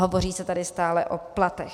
Hovoří se tady stále o platech.